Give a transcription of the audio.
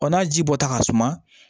n'a ji bɔta ka suma